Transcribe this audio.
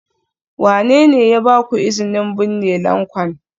Wane ne ya ba ku izinin binne lanƙwan?